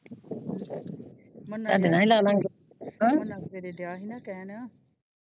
ਤੁਹਾਡੇ ਨਾਲ ਹੀ ਲਾ ਲਾ ਗਏ ਹਮ ਗਿਆ ਸੀ ਨਾ ਕਹਿਣ।